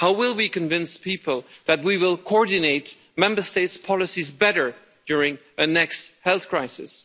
How will we convince people that we will coordinate Member States' policies better during the next health crisis?